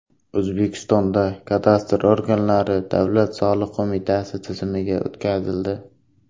O‘zbekistonda kadastr organlari Davlat soliq qo‘mitasi tizimiga o‘tkazildi.